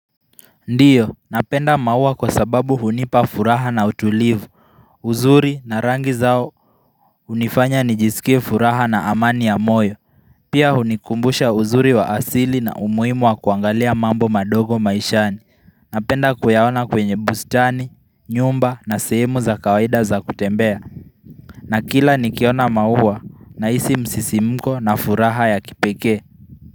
Ndiyo, napenda maua kwa sababu hunipa furaha na utulivu, uzuri na rangi zao unifanya nijisikie furaha na amani ya moyo. Pia hunikumbusha uzuri wa asili na umuhimu wa kuangalia mambo madogo maishani. Napenda kuyaona kwenye bustani, nyumba na sehemu za kawaida za kutembea na kila nikiona maua nahisi msisi mko na furaha ya kipekee.